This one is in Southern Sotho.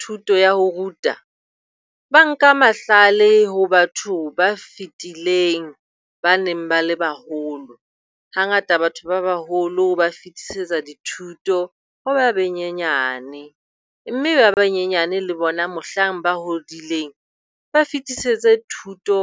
Thuto ya ho ruta. Ba nka mahlale ho batho ba fetileng, ba neng ba le baholo. Hangata Batho ba baholo ba fitisetsa dithuto ho ba banyenyane. Mme ba banyenyane le bona mohlang ba hodileng ba fetisetse thuto